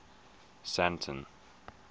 sandton